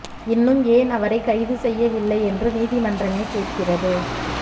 இன்னும் ஏன் அவரை கைது செய்யவில்லை என்று நீதிமன்றமே கேட்கிறது